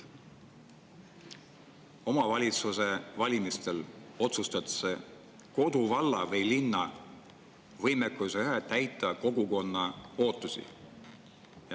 Omavalitsuse valimistel otsustatakse koduvalla või ‑linna võimekuse üle täita kogukonna ootusi.